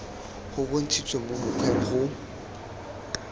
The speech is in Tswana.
go bontshitswe mo mokgweng go